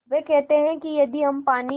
वे कहते हैं कि यदि हम पानी